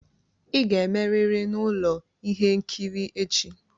Ị ga-emerịrị na ụlọ ihe nkiri echi!